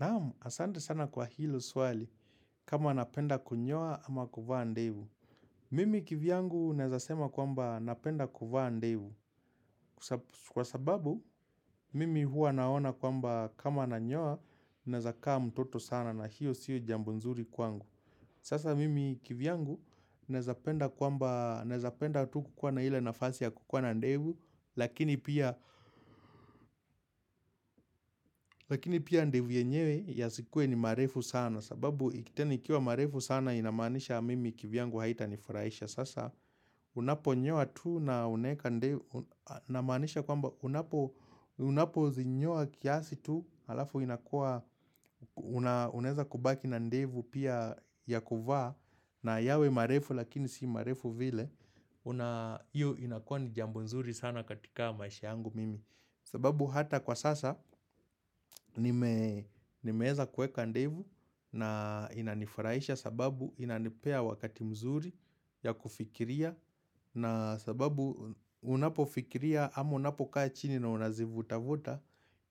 Naam, asante sana kwa hilo swali kama napenda kunyoa ama kuvaa ndevu. Mimi kivyangu naeza sema kwamba napenda kuvaa ndevu kwa sababu mimi huwa naona kwamba kama nanyoa naezakaa mtoto sana na hiyo sio jambo nzuri kwangu. Sasa mimi kivyangu naezapenda kwamba, naezapenda tu kukuwa na hile nafasi ya kukuwa na ndevu lakini pia ndevu yenyewe yasikuwe ni marefu sana. Sababu tena ikiwa marefu sana inamanisha mimi kivyangu haita ni furaisha sasa Unapo nyoa tu na unaeka namanisha kwamba Unapo zinyoa kiasi tu Alafu inakua unaeza kubaki na ndevu pia ya kuvaa na yawe marefu lakini si marefu vile Iyo inakua ni jambo nzuri sana katika maisha yangu mimi sababu hata kwa sasa nimeeza kueka ndevu na inanifuraisha sababu inanipea wakati mzuri ya kufikiria na sababu unapo fikiria ama unapo kaa chini na unazivuta vuta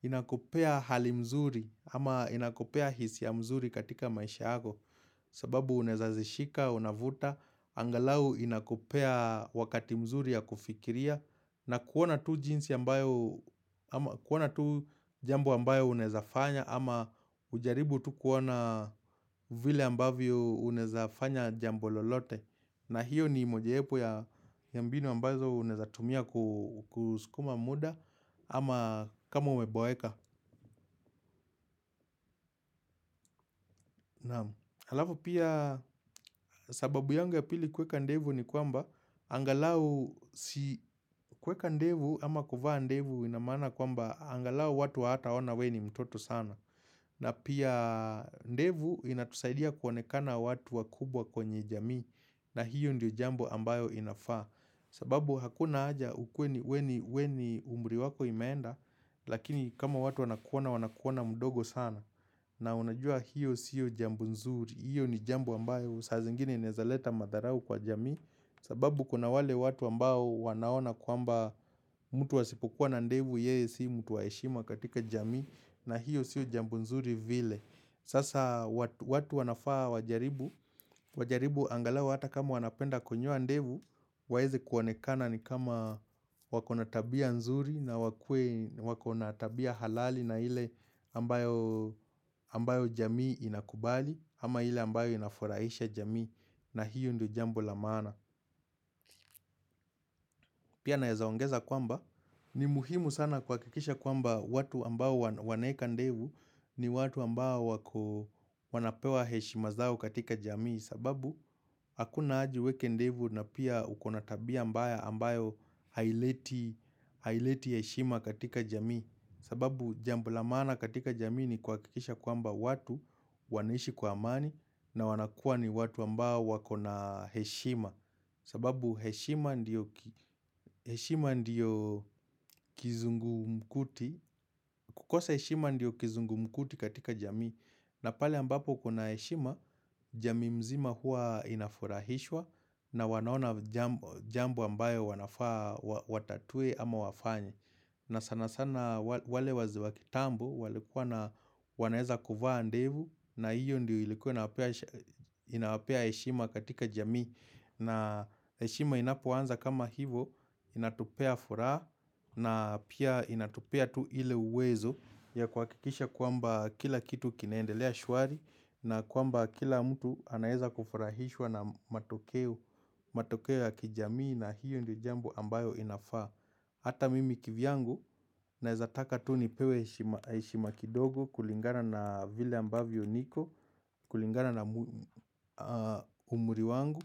inakupea hali mzuri ama inakupea hisia mzuri katika maisha yako sababu unaeza zishika, unavuta, angalau inakupea wakati mzuri ya kufikiria na kuona tu jinsi ambayo, kuona tu jambo ambayo unaezafanya ama ujaribu tu kuona vile ambavyo unaezafanya jambo lolote na hiyo ni mojayepo ya mbinu ambazo unaeza tumia kuskuma muda ama kama umeboeka Halafu pia sababu yangu ya pili kuweka ndevu ni kwamba angalau si kuweka ndevu ama kuvaa ndevu ina maana kwamba angalau watu hawata ona we ni mtoto sana na pia ndevu inatusaidia kuonekana watu wakubwa kwenye jamii na hiyo ndio jambo ambayo inafaa. Sababu hakuna aja ukuwe we ni umri wako imeenda lakini kama watu wanakuona, wanakuona mdogo sana. Na unajua hiyo sio jambo nzuri. Hiyo ni jambo ambayo saa zingine inaeza leta madharau kwa jamii. Sababu kuna wale watu ambao wanaona kwamba mtu asipokuwa na ndevu yeye si mutu wa heshima katika jamii. Na hiyo sio jambo nzuri vile Sasa watu wanafaa wajaribu angalau hata kama wanapenda konyoa ndevu waeze kuonekana ni kama wako na tabia nzuri na wakuwe wako na tabia halali na hile ambayo jamii inakubali ama hile ambayo inafuraisha jamii na hiyo ndio jambo la maana Pia naeza ongeza kwamba ni muhimu sana kuhakikisha kwamba watu ambayo wanaeka ndevu ni watu ambao wanapewa heshima zao katika jamii sababu akuna haja uweke ndevu na pia uko na tabia ambayo haileti heshima katika jamii sababu jambo la maana katika jamii ni kuhakikisha kwamba watu wanaishi kwa amani na wanakua ni watu ambao wako na heshima sababu kukosa heshima ndiyo kizungumkuti katika jamii na pale ambapo kuna heshima, jamii mzima hua inafurahishwa na wanaona jambo ambayo wanafaa watatue ama wafanye. Na sana sana wale wazee wa kitambo walikuwa wanaeza kuvaa ndevu na hiyo ndio ilikuwa inawapea heshima katika jamii. Na heshima inapoanza kama hivo inatupea furaha na pia inatupea tu ile uwezo ya kuhakikisha kwamba kila kitu kinaendelea shuari na kwamba kila mtu anaeza kufurahishwa na matokeo ya kijamii na hiyo ndio jambo ambayo inafaa. Hata mimi kivyangu naeza taka tu nipewe heshima kidogo kulingana na vile ambavyo niko kulingana na umri wangu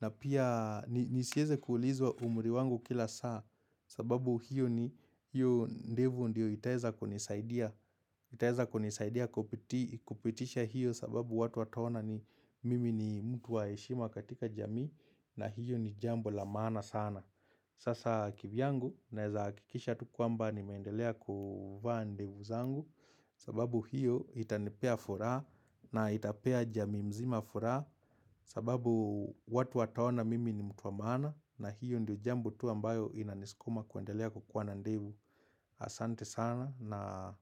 na pia nisieze kuulizwa umri wangu kila saa sababu hiyo ndevu ndiyo itaeza kunisaidia. Kupitisha hiyo sababu watu wataona mimi ni mtu wa heshima katika jamii na hiyo ni jambo la maana sana. Sasa kivyangu naeza hakikisha tu kwmba nimeendelea kuvaa ndevu zangu sababu hiyo itanipea furaha na itapea jamii mzima furaha sababu watu wataona mimi ni mtu wa maana na hiyo ndio jambo tu ambayo inaniskuma kuendelea kukuwa na ndevu asante sana na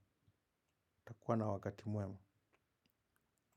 utakuwa na wakati muema.